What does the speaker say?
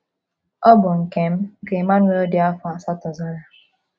“ Ọ bụ nke m ,” ka Emmanuel dị afọ asatọ zara.